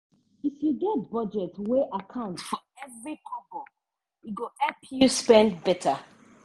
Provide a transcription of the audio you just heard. if you get budget wey account for every kobo e go help you spend better.